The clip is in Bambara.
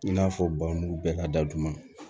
I n'a fɔ ba mugu bɛɛ ka datuguman